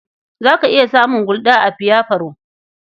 Za ka iya samun Gulda a biyafalo.